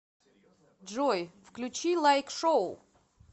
джой включи лайк шоу